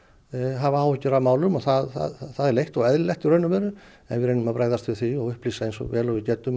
hafa áhyggjur af málum og það er leitt og eðlilegt í raun og veru og við reynum að bregðast við því og upplýsa eins vel og við getum